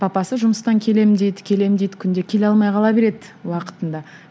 папасы жұмыстан келемін дейді келемін дейді күнде келе алмай қала береді уақытында